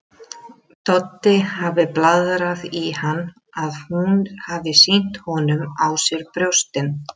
Doddi hafi blaðrað í hann að hún hafi sýnt honum á sér brjóstin.